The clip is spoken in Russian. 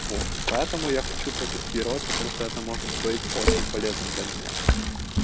вот поэтому я хочу протестировать потому что это может быть очень полезным для меня